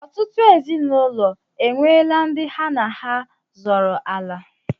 Ọtụtụ ezinụlọ enweela ndị ha na ha zọrọ ala.